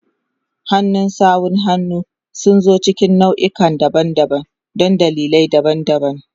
Hannun sawun hannu sun zo cikin nau'ikan daban-daban don dalilai daban-daban.